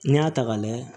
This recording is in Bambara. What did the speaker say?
N'i y'a ta ka lajɛ